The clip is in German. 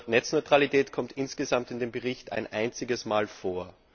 Das Wort Netzneutralität kommt insgesamt in dem Bericht ein einziges Mal vor.